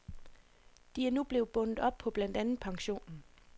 De er nu blevet bundet op på blandt andet pensionen.